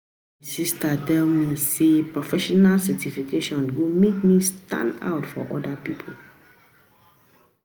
My sista tell me sey professional certification go make me stand out from oda pipo.